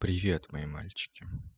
привет мои мальчики